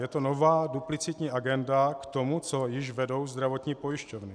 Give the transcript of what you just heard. Je to nová, duplicitní agenda k tomu, co již vedou zdravotní pojišťovny.